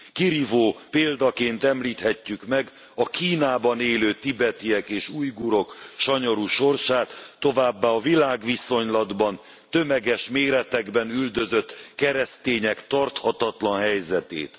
Kirívó példaként említhetjük meg a Kínában élő tibetiek és ujgurok sanyarú sorsát, továbbá a világviszonylatban tömeges méretekben üldözött keresztények tarthatatlan helyzetét.